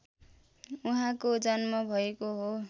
उहाँको जन्म भएको हो